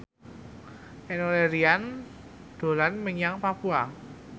Enno Lerian dolan menyang Papua